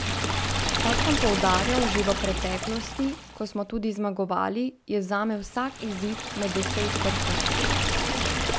Kot sem poudarjal že v preteklosti, ko smo tudi zmagovali, je zame vsak izid med deset vrhunski.